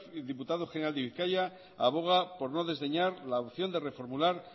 el diputado general de bizkaia aboga por no desdeñar la opción de reformular